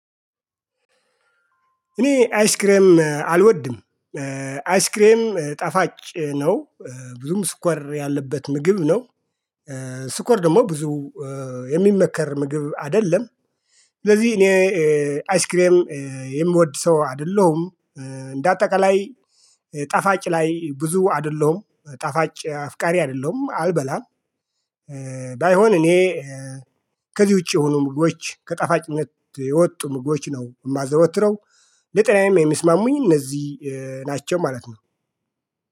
እኔ አይስክሬም አልወድም። አይስክሬም ጣፋጭ ነው። ብዙም ስኳር ያለበት ምግብ ነው። ስኳር ደግሞ ብዙ የሚመከር ምግብ አይደለም። ስለዚህ እኔ አይስክሬም የምወድ ሰው አይደለሁም። እንዳአጠቃላይ ጣፋጭ ላይ ብዙ አይደለሁም ጣፋጭ አፍቃሪ አይደለሁም አልበላም። ባይሆን እኔ ከዚህ ውጪ የሆኑ ምግቦች ከጣፋጭነት የወጡ ምግቦች ነው የማዘወትረው። ለጤናዬም የሚስማሙኝ እነዚህ ናቸው ማለት ነው